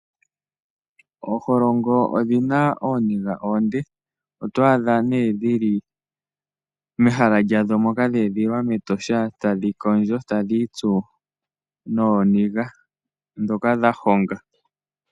Ooholongo odhi na ooniga oonde. Oto adha nee dhi li mehala lyadho moka dhe edhililwa mEtosha, tadhi kondjo tadhi itsu nooniga ndhoka dha honga.